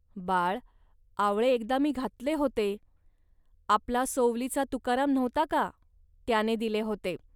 ."बाळ आवळे एकदा मी घातले होते. आपला सोवलीचा तुकाराम नव्हता का, त्याने दिले होते